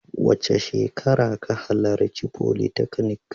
Wace shekara ka halarci folytechnic?